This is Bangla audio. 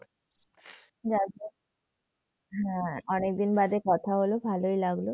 হ্যাঁ, অনেকদিন বাদে অনেকদিন বাদে কথা হল, ভালোই লাগলো।